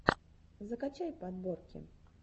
закачай подборки